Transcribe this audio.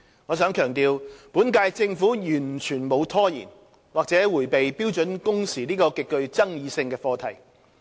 我想強調，本屆政府完全沒有拖延或迴避標準工時這個極具爭議性的課題。